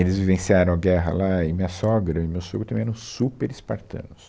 Eles vivenciaram a guerra lá e minha sogra e o meu sogro também eram super espartanos.